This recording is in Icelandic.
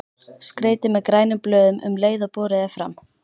Skreytið með grænum blöðum um leið og borið er fram.